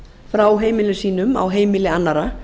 frá heimilum sínum á heimili annarra